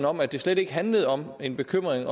om at det slet ikke handler om en bekymring